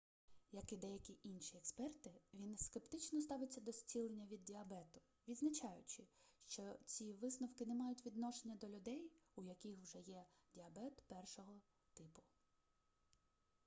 як і деякі інші експерти він скептично ставиться до зцілення від діабету відзначаючи що ці висновки не мають відношення до людей у яких вже є діабет 1-го типу